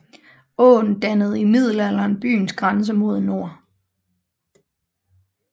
Åen dannede i middelalderen byens grænse mod nord